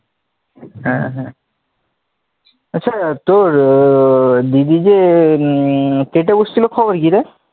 হ্যাঁ হ্যাঁ আচ্ছা তোর দিদি যে উম টেটে বসছিল খবর কি রে?